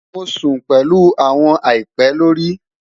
Mo sun pẹlu awọn àìpẹ lori